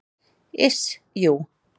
Iss, jú.